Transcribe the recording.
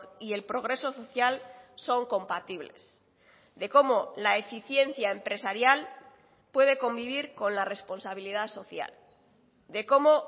y el progreso social son compatibles de cómo la eficiencia empresarial puede convivir con la responsabilidad social de cómo